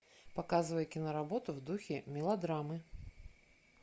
показывай киноработу в духе мелодрамы